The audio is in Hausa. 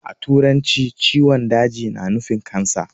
A turance ciwon daji na nufi "Cancer".